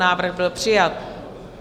Návrh byl přijat.